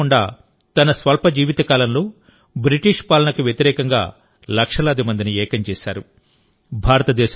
భగవాన్ బిర్సా ముండా తన స్వల్ప జీవితకాలంలో బ్రిటిష్ పాలనకు వ్యతిరేకంగా లక్షలాది మందిని ఏకం చేశారు